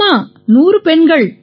ஆமாம் 100 பெண்கள்